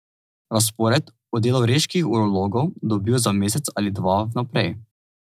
Razpored o delu reških urologov dobijo za mesec ali dva v naprej.